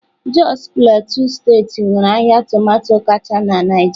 Jos Plateau steeti nwere ahịa tomato kacha na Naịjirịa.